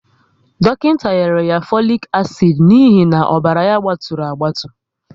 Dọkịnta nyere ya folic acid n'ihi na ọbara ya gbaturu agbatu